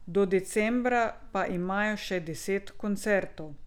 Do decembra pa imajo še deset koncertov.